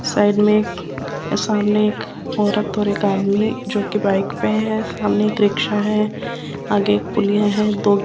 side में सामने एक औरत और एक आदमी जोकि बाइक पे है सामने एक रिक्शा है आगे पुलिया है जो --